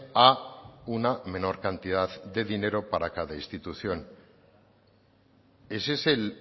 a una menor cantidad de dinero para cada institución es ese el